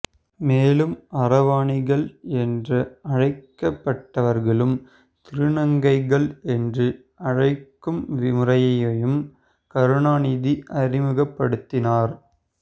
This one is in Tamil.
மேலும் அரவாணிகள் என்ற அழைக்கப்பட்டவர்களுக்கு திருநங்கைகள் என்று அழைக்கும் முறையையும் கருணாநிதி அறிமுகப்படுத்தினார்